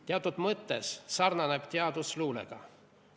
Teatud mõttes sarnaneb teadus luulega.